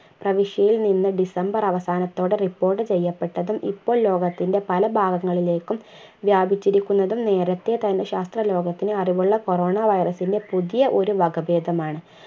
പ്രവിശ്യയിൽ നിന്ന് december അവസാനത്തോടെ report ചെയ്യപ്പെട്ടതും ഇപ്പോൾ ലോകത്തിന്റെ പല ഭാഗങ്ങളിലേക്കും വ്യാപിച്ചിരിക്കുന്നതും നേരത്തെ തന്നെ ശാസ്ത്ര ലോകത്തിന് അറിവുള്ള corona virus ന്റ്റെ പുതിയ ഒരു വകഭേദമാണ്